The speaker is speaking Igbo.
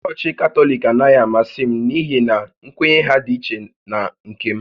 Chọọchị Katọlik anaghị amasị m n’ihi na nkwenye ha dị ichè na nke m